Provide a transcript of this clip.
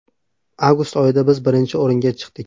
Avgust oyida biz birinchi o‘ringa chiqdik.